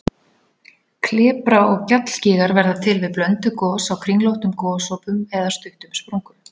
Klepra- og gjallgígar verða til við blönduð gos á kringlóttum gosopum eða stuttum sprungum.